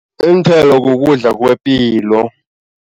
Iinthelo kukudla kwepilo.